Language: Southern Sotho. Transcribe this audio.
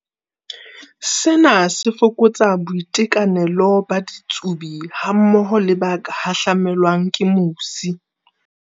Sena se fokotsa boitekanelo ba ditsubi hammoho le ba ka hahlamelwang ke mosi.